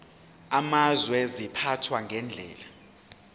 amazwe ziphathwa ngendlela